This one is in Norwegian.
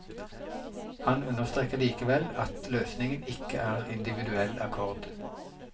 Han understreker likevel at løsningen ikke er individuell akkord.